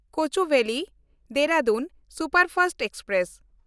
ᱠᱳᱪᱩᱵᱮᱞᱤ–ᱫᱮᱦᱨᱟᱫᱩᱱ superfast express